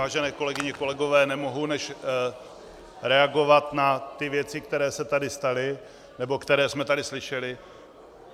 Vážené kolegyně, kolegové, nemohu než reagovat na ty věci, které se tady staly, nebo které jsme tady slyšeli.